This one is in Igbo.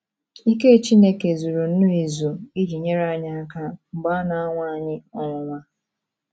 Ike Chineke zuru nnọọ ezu iji nyere anyị aka mgbe a na - anwa anyị ọnwụnwa.